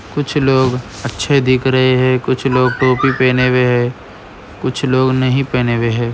कुछ लोग अच्छे दिख रहे हैं कुछ कुछ लोग टोपी पहने हुए हैं। कुछ लोग नहीं पहने हुए है।